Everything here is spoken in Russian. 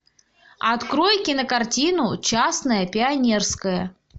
открой кинокартину частное пионерское